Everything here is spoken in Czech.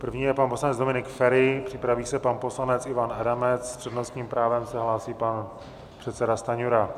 První je pan poslanec Dominik Feri, připraví se pan poslanec Ivan Adamec, s přednostním právem se hlásí pan předseda Stanjura.